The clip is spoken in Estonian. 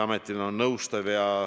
Aitäh!